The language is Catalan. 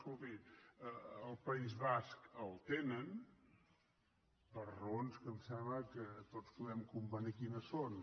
escolti al país basc el tenen per raons que em sembla que tots podem convenir quines són